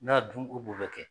N'a y'a dun u b'u bɛ kɛ